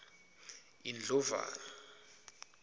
indlovana